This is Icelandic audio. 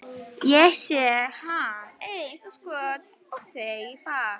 Ég sé hann eins og skot og segi það.